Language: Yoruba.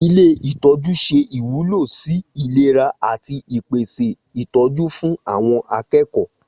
Ilé itọju se ìwúlò sì ìlera ati ìpèsè ìtọjú fún àwon akékòó